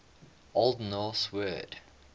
old norse word